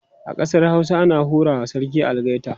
a ƙasar Hausa ana hura wa sarki algaita